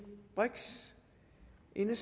er jeg